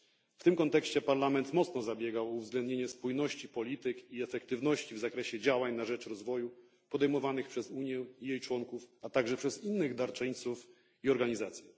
W tym kontekście Parlament mocno zabiegał o uwzględnienie spójności polityk i efektywności w zakresie działań na rzecz rozwoju podejmowanych przez Unię i jej członków, a także przez innych darczyńców i organizacje.